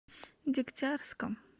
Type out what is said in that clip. дегтярском